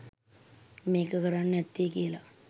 මේක කරන්න ඇත්තෙ කියලා